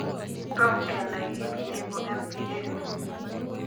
Tom kenai kiit neibu mpa